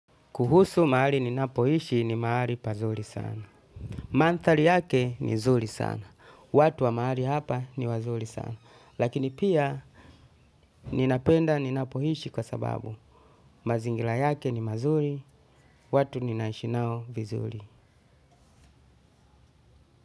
Kuhusu mahali ninapoishi ni mahali pazuri sana. Manthari yake ni nzuri sana. Watu wa maali hapa ni wazuri sana. Lakini pia ninapenda ninapoishi kwa sababu. Mazingira yake ni mazuri, watu ninaishi nao vizuri.